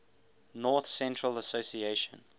north central association